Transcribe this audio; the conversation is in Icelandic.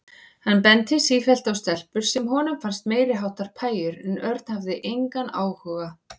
Hann benti sífellt á stelpur sem honum fannst meiriháttar pæjur en Örn hafði engan áhuga.